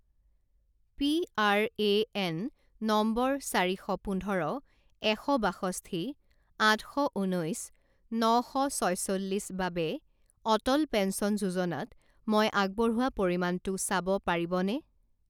PRAN number চাৰি শ পোন্ধৰ এশ বাষষ্ঠি আঠ শ ঊনৈছ ন শ ছয়চল্লিছ বাবে অটল পেঞ্চন যোজনাত মই আগবঢ়োৱা পৰিমাণটো চাব পাৰিবনে?